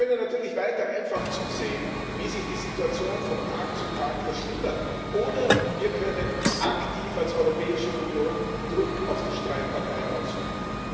Wir können natürlich weiter einfach zusehen, wie sich die Situation von Tag zu Tag verschlimmert, oder wir können aktiv als Europäische Union Druck auf die Streitparteien ausüben.